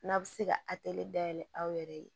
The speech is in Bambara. N'a bɛ se ka dayɛlɛ aw yɛrɛ ye